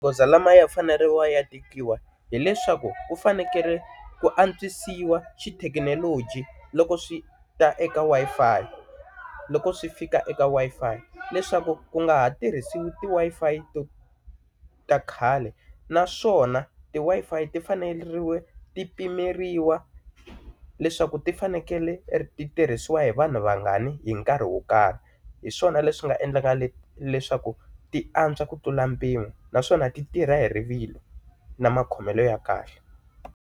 Goza lamaya faneriwa ya tikiwa hileswaku ku fanekele ku antswisiwa xithekinoloji loko swi ta eka Wi-Fi loko swi fika eka Wi-Fi leswaku ku nga ha tirhisiwi ti Wi-Fi to ta khale naswona ti Wi-Fi ti fanele ti pimeriwa leswaku ti fanekele ti tirhisiwa hi vanhu vangani hi nkarhi wo karhi hi swona leswi nga endlaka leswaku ti antswa ku tlula mpimo naswona ti tirha hi rivilo na makhomelo ya kahle.